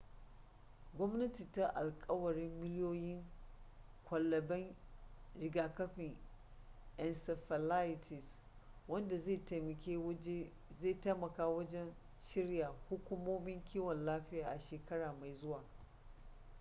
gwamnati ta alkawarin miliyoyin kwalaben rigakafin encephalitis wanda zai taimaka wajen shirya hukumomin kiwon lafiya a shekara mai zuwa